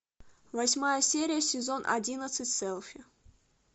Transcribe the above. восьмая серия сезон одиннадцать селфи